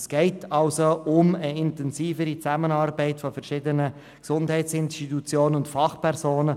Es geht somit um eine intensivere Zusammenarbeit zwischen verschiedenen Gesundheitsinstitutionen und Fachpersonen.